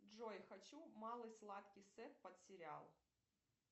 джой хочу малой сладкий сет под сериал